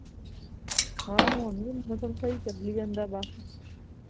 ਮੈਂ ਆਂ ਗੁਣ ਹੀ ਹੂਣ ਮੌਸਮ ਸਹੀ ਚੱਲੀ ਜਾਂਦਾ ਬਸ